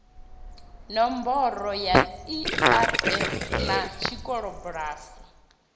nomboro ya erf na tshikolobulasi